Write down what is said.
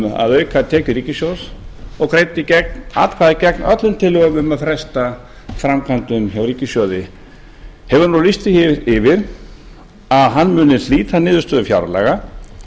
um að auka tekjur ríkissjóðs og greiddi atkvæði gegn öllum tillögum um að fresta framkvæmdum úr ríkissjóði hefur nú lýst því yfir að hann muni hlíta niðurstöðum fjárlaga